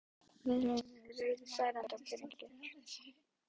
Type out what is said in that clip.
Viðbrögðin eru reiði, særindi og pirringur.